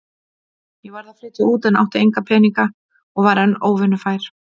Ég varð að flytja út en átti enga peninga og var enn óvinnufær.